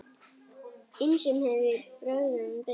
Ýmsum hef ég brögðum beitt.